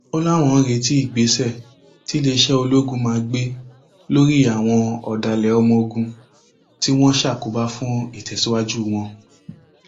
ó láwọn ń retí ìgbésẹ tiléeṣẹ ológun máa gbé lórí àwọn ọdàlẹ ọmọọgùn tí wọn ń ṣàkóbá fún ìtẹsíwájú wọn